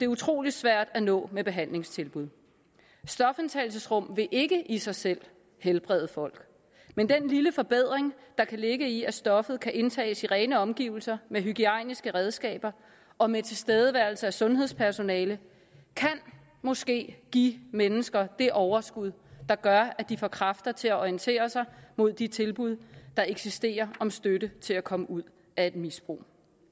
utrolig svært at nå med behandlingstilbud stofindtagelsesrum vil ikke i sig selv helbrede folk men den lille forbedring der kan ligge i at stoffet kan indtages i rene omgivelser med hygiejniske redskaber og med tilstedeværelse af sundhedspersonale kan måske give mennesker det overskud der gør at de får kræfter til at orientere sig mod de tilbud der eksisterer om støtte til at komme ud af et misbrug